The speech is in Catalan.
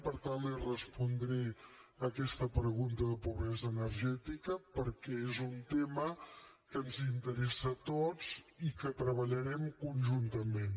per tant li respondré aquesta pregunta de pobresa energètica perquè és un tema que ens interessa a tots i que treballarem conjuntament